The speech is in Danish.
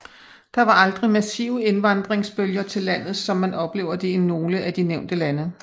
Der var aldrig massive indvandringsbølger til landet som man oplever det i nogle af de nævnte lande